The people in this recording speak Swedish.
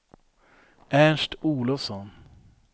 Ernst Olofsson